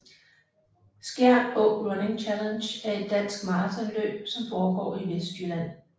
Skjern Å Running Challenge er et dansk maratonløb som foregår i Vestjylland